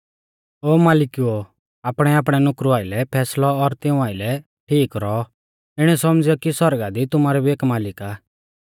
ओ मालिकुओ आपणैआपणै नुकरु आइलै फैसलौ और तिऊं आइलै ठीक रौऔ इणौ सौमझ़ियौ कि सौरगा दी तुमारौ भी एक मालिक आ